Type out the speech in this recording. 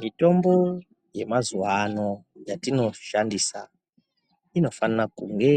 Mitombo yemazuwa ano yatinoshandisa ,inofana kunge